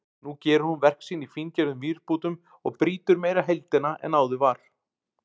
Nú gerir hún verk sín í fíngerðum vírbútum og brýtur meira heildina en áður var.